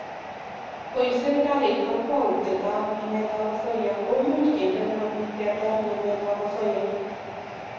Ngoib serkalit kakwautietab nametab osoya komuch kende ngweny ketar nametab osoya